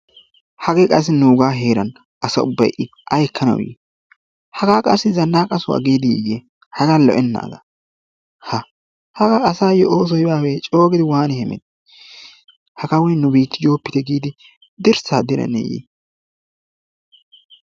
Hagge qassi nuuga heeran asa ubbay i aykkanawu yii? hagaa qassi zanaqqa so'ho giidi yii haggaa lo"enagga ha, hagga asaayo oosoy baaweye? coogidi hemettiye hagaa nu bittiyo biitte giidi dirssa diraneye?